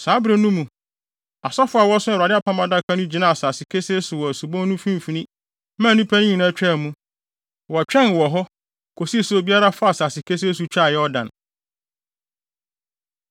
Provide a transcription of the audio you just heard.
Saa bere no mu, asɔfo a wɔso Awurade Apam Adaka no gyinaa asase kesee so wɔ subon no mfimfini maa nnipa no nyinaa twaa mu. Wɔtwɛn wɔ hɔ kosii sɛ obiara faa asase kesee so twaa Yordan.